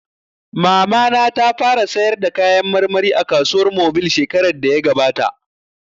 Mamana ta fara sayar da kayan marmari a kasuwar mobil shekarar da ya gabata